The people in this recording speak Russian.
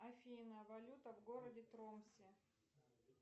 афина валюта в городе тромсе